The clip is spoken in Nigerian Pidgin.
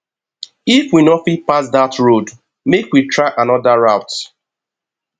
if we no fit pass dat road make we try anoda route